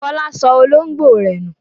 Fọlá sọ olóńgbò rẹ̀ nù.